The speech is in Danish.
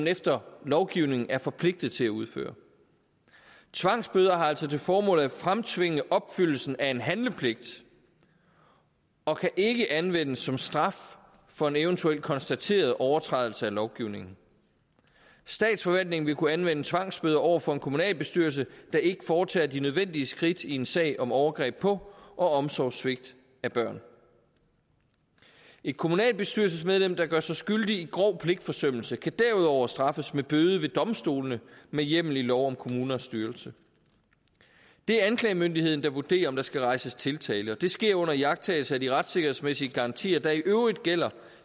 efter lovgivningen er forpligtet til at udføre tvangsbøder har altså til formål at fremtvinge opfyldelsen af en handlepligt og kan ikke anvendes som straf for en eventuel konstateret overtrædelse af lovgivningen statsforvaltningen vil kunne anvende tvangsbøder over for en kommunalbestyrelse der ikke foretager de nødvendige skridt i en sag om overgreb på og omsorgssvigt af børn et kommunalbestyrelsesmedlem der gør sig skyldig i grov pligtforsømmelse kan derudover straffes med bøde ved domstolene med hjemmel i lov om kommunernes styrelse det er anklagemyndigheden der vurderer om der skal rejses tiltale og det sker under iagttagelse af de retssikkerhedsmæssige garantier der i øvrigt gælder